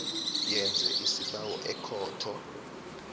yenze isibawo ekhotho